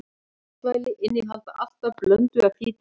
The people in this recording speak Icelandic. Matvæli innihalda alltaf blöndu af fitusýrum.